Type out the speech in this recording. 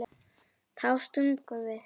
Þá stungum við